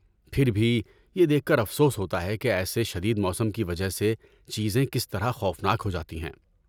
پھر بھی یہ دیکھ کر افسوس ہوتا ہے کہ ایسے شدید موسم کی وجہ سے چیزیں کس طرح خوف ناک ہو جاتی ہیں۔